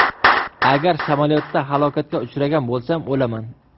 Agar samolyotda halokatga uchragan bo‘lsam, o‘laman.